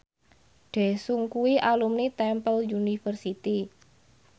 Daesung kuwi alumni Temple University